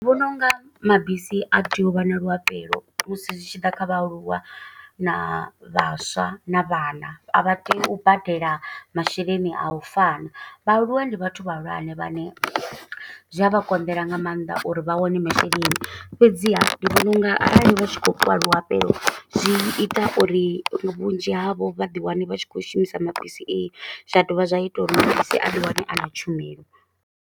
Ndi vhona unga mabisi a tea u vha na luhafhelo musi zwi tshi ḓa kha vhaaluwa na vhaswa, na vhana. A vha tei u badela masheleni a u fana. Vhaaluwa ndi vhathu vhahulwane vhane, zwi a vha konḓela nga maanḓa uri vha wane masheleni. Fhedziha, ndi vhona unga arali vha tshi khoy fhiwa luafhelo, zwi ita uri vhunzhi havho vha ḓi wane vha tshi khou shumisa mabisi ee. Zwa dovha zwa ita uri mabisi a ḓi wane a na tshumelo.